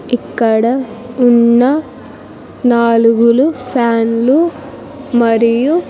ఇక్కడ ఉన్న నాలుగులు ఫ్యాన్లు మరియు.